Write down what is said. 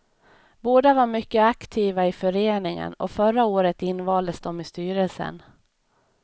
Båda var mycket aktiva i föreningen och förra året invaldes de i styrelsen.